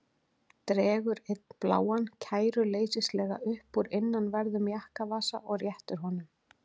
Dregur einn bláan kæruleysislega upp úr innanverðum jakkavasa og réttir honum.